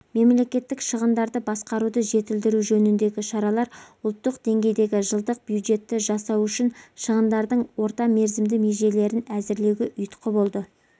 мемлекеттік шығындарды басқаруды жетілдіру жөніндегі шаралар ұлтық деңгейдегі жылдық бюджетті жасау үшін шығындардың орта мерзімді межелерін әзірлеуге ұйытқы болды